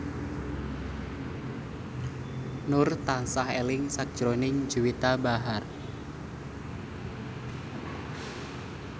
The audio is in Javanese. Nur tansah eling sakjroning Juwita Bahar